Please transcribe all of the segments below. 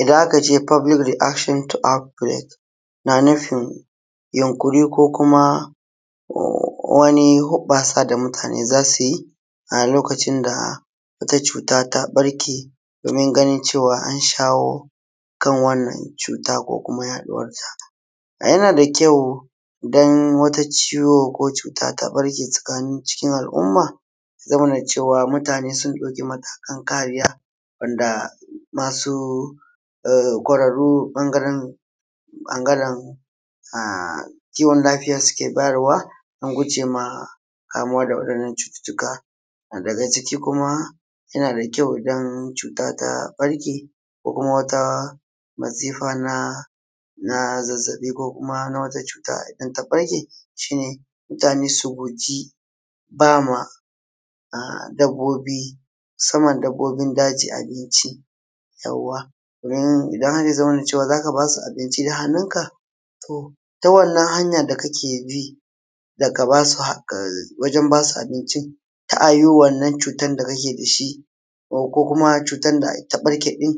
Idan aka ce fublik re’akshin tu abrej na nufin yinƙuri ko kuma wani hoɓasa da mutane za su yi a lokacin da wata cuta ta ɓarke domin ganin cewa an shawo kan wannan cuta ko kuma yaɗuwarta. Yana da kyau don wata ciwo ko cuta ta ɓarke tsakanin al’umma ya zamana cewa mutane sun ɗauki matakan kariya, wanda masu ƙwararru ɓangaren, ɓangaren a kiwon lafiya suke bayarwa, an gujema kamuwa da wadannan cututtuka. Daga ciki kuma yana da kyau idan cuta ta ɓarke, ko kuma wata masifa na, na zazzaɓi ko kuma na wata cuta idan ta farke shi ne mutane su guji bama dabobbi, musamman dabbobin daji abinci. Yauwa domin idan ya zamana zaka basu abinci da hannunka, to ta wannan hanya da kake bi daka basu, wajen basu abincin ta yiwu wannan cutan da kake dashi ko kuma cutan da ta ɓarke ɗin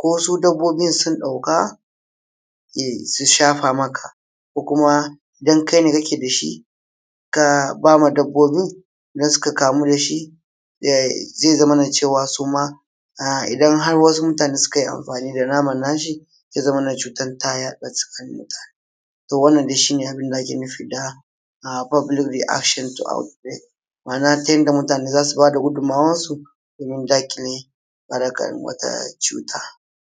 ko su dabbobin sun ɗauka, su shafa maka, ko kuma idan kai ne kake dashi ka bama dabbobin idan suka kamu dashi zai zamana cewa suma idan har wasu mutane sukai amfani da naman nashi, zai zamana cutan ta yaɗu a tsakanin mutane. To wannan dai shi ne abinda ake nufi da (public reaction to our break) ma’ana ta yanda mutane za su bada gummuwan su domin daƙile ɓarakan wata cuta.